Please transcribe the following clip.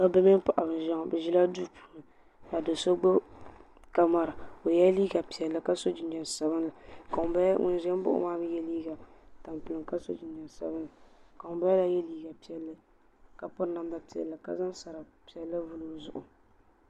Dabba mini paɣba n ʒɛya ŋɔ. Bɛ ʒila duu puuni ka do so gbubi kamara o yela liiga piɛlli ka so jinjam sabinli ka ŋun ʒim baɣ' o maa mi ye liiga tampilim ka so jinjam sabinli ka ŋun bala la mi ye liiga piɛlli ka piri namda piɛlli ka Zaŋ sari piɛlli n vuli o zuɣu.